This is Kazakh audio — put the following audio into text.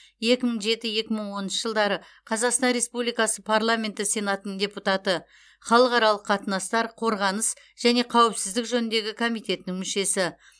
екі мың жеті екі мың оныншы жылдары қазақстан республикасы парламенті сенатының депутаты халықаралық қатынастар қорғаныс және қауіпсіздік жөніндегі комитетінің мүшесі